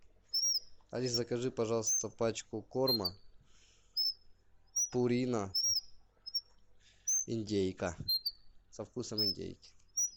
алис закажи пожалуйста пачку корма пурина индейка со вкусом индейки